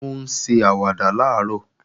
Ó ń ṣe àwàdà làárọ̀